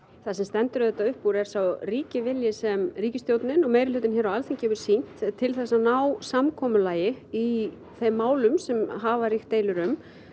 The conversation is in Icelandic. það sem stendur auðvitað upp úr er sá ríki vilji sem ríkisstjórnin og meirihlutinn hér á Alþingi hefur sýnt til þess að ná samkomulagi í þeim málum sem hafa ríkt deilur um